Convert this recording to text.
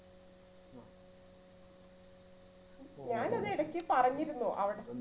ഞാൻ അന്ന് ഇടക്ക് പറഞ്ഞിരുന്നു അവിടന്ന്